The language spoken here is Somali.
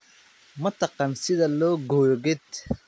Ma taqaan sida loo gooyo geed?